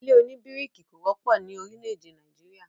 ilé òní bíríkì kò wọ́pọ̀ ni orílè-èdè Nàìjíríà